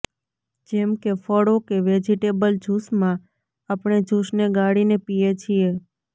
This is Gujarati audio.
જેમ કે ફળો કે વેજિટેબલ જૂસમાં આપણે જૂસને ગાળીને પીએ છીએ